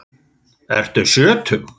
Ertu sjötug?